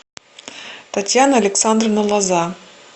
татьяна александровна лоза